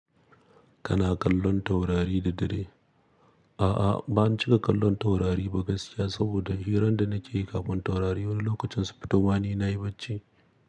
Kana kallon taurari da dare? A'a, ban cika kallon taurari ba gaskiya saboda hirar da nake yi kafin taurari wani lokacin su fito ma ni na yi bacci.